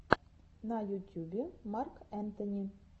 на ютюбе марк энтони